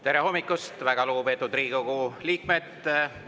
Tere hommikust, väga lugupeetud Riigikogu liikmed!